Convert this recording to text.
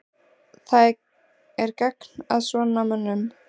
Það er gagn að svona mönnum.